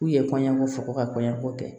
K'u ye kɔɲɔko fo ka kɔɲɔko kɛ